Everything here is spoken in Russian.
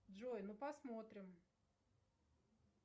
джой ну посмотрим